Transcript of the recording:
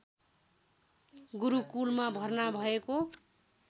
गुरुकुलमा भर्ना भएको